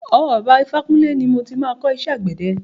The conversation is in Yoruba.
Ọwọ́ bàbá ifákúnle ni mo ti máa kọ́ iṣẹ́ àgbẹ̀dẹ.